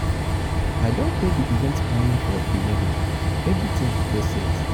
i don pay di event planner for di wedding everytin dey set.